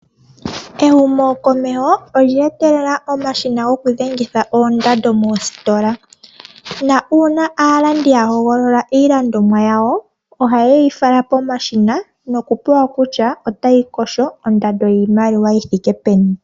Ehumokomeho olye etelelwa omashina gokudhenga oondando moositola. Uuna aalandi yahogolola iilandomwa yawo ohayeyi fala pomashina nokupewa kutya otayi kosho ondando yiimaliwa yithike peni.